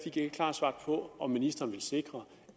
et klart svar på om ministeren vil sikre